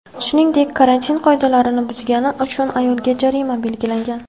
Shuningdek, karantin qoidalarini buzgani uchun ayolga jarimaga belgilangan.